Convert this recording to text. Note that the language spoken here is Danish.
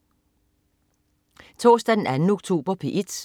Torsdag den 2. oktober - P1: